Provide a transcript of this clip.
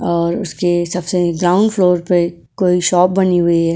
और उसके सबसे ग्राउंड फ्लोर पे कोई शॉप बनी हुई है।